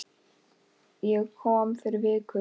Ég kom fyrir viku